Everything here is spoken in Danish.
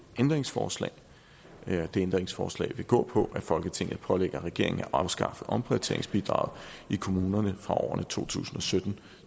ændringsforslag det ændringsforslag vil gå på at folketinget pålægger regeringen at afskaffe omprioriteringsbidraget i kommunerne for årene to tusind og sytten